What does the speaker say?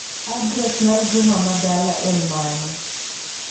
Adres mar Juma ma dala en mane.